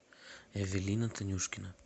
эвелина танюшкина